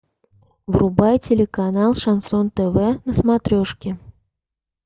врубай телеканал шансон тв на смотрешке